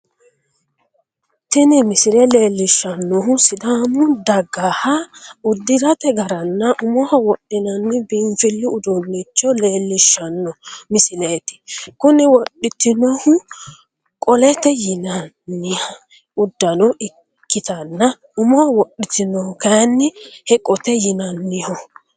Tini misile leelishanohu sidaamu dagaha udirate garanna umoho wodhinnanni biinfilu uduunicho leelishano misileeti kunni wodhitonohu qolote yinnanni udano ikitanna umoho wodhitinohu kayinni heqote yinnanniho.